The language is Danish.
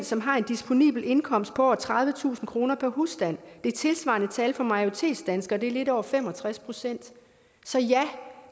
som har en disponibel indkomst på over tredivetusind kroner per husstand det tilsvarende tal for majoritetsdanskere er lidt over fem og tres procent så ja